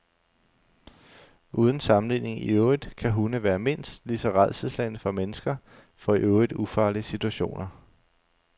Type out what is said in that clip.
Uden sammenligning i øvrigt kan hunde være mindst lige så rædselsslagne som mennesker for i øvrigt ufarlige situationer.